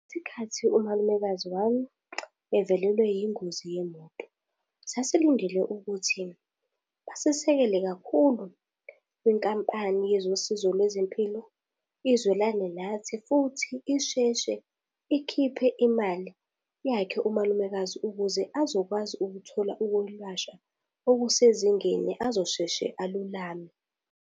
Ngesikhathi umalumekazi wami evelelwe yingozi yemoto. Sasilindele ukuthi basisekele kakhulu kwinkampani yezosizo lwezempilo, izwelane nathi, futhi isheshe ikhiphe imali yakhe umalumekazi ukuze azokwazi ukuthola ukulashwa okusezingeni azosheshe alulame.